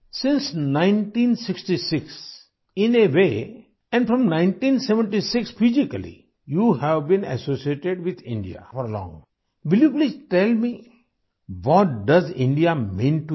Since 1966 in a way and from 1976 physically you have been associated with India for long, will you please tell me what does India mean to you